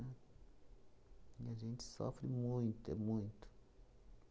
Né? E a gente sofre muito, é muito.